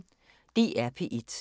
DR P1